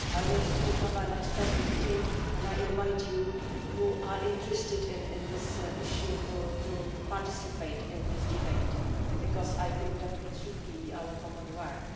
I also have an expert meeting, and I invite those who are interested in this issue to participate in this debate, because I think that it should be our common work.